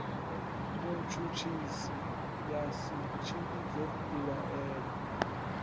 mutshutshisi ya si tshimbidze mbilaelo